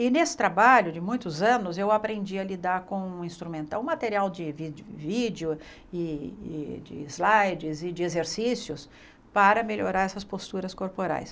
E nesse trabalho de muitos anos, eu aprendi a lidar com um instrumento, um material de de vídeo, e de slides e de exercícios para melhorar essas posturas corporais.